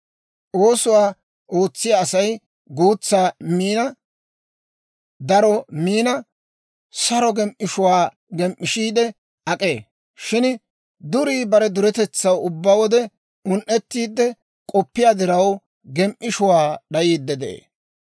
Oosuwaa ootsiyaa Asay guutsa min, daro min, saro gem"ishshuwaa gem"ishiide ak'ee; shin durii bare duretetsaw ubbaa wode un"ettiide k'oppiyaa diraw, gem"ishshuwaa d'ayiide de'ee.